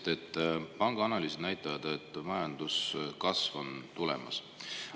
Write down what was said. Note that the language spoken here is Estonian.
Te ütlesite, et pangaanalüüsid näitavad, et majanduskasv on tulemas.